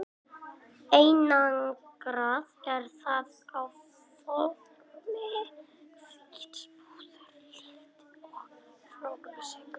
Einangrað er það á formi hvíts púðurs líkt og flórsykur.